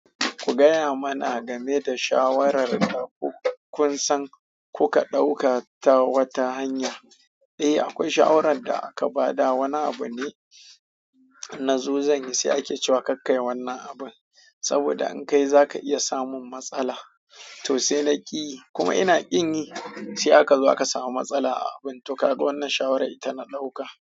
Ku gaya mana game da shawarar daku kun san kuka ɗauka ta wata hanya. Eh, akwai shawarar da aka ba da wani abu ne na zo zanyi, sai ake cewa kakkai wannan abun saboda in ka yi za ka iya samun matsala. To sai na ƙiyi kuma ina ƙin yi, sai aka zo aka samu matsala a abun. To kaga wannan shawarar ita na ɗauka.